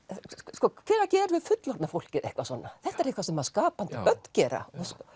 sko hvenær gerum við fullorðna fólkið eitthvað svona þetta er eitthvað sem skapandi börn gera